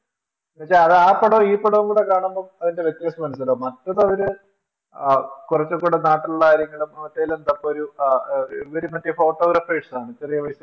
എന്നുവച്ചാൽ അത് ആ പടവും ഈ പടവും കൂടെ കാണുമ്പോൾ അതിന്റെ വ്യത്യാസം മനസിലാകും മറ്റേതു അവര് ആ കുറച്ചുകുടെ നാട്ടിലുള്ള കാര്യങ്ങളെയും മറ്റേലും ഇതൊക്കെ ഒരു ഇവര് മറ്റേ Photographers ആണ് ചെറിയ പൈസക്ക്